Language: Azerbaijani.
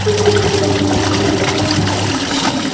Bu köhnə qılafı köhnə örtüyə atmaq kimi bir şeydir.